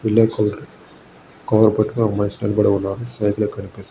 yellow colour cover పట్టుకుని ఒక మనిషి నిలబడి ఉన్నాడు.సైడ్ లో కనిపిస్తున్నా--